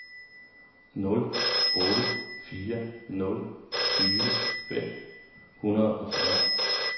nul otte fire nul tyve fem hundrede og fyrre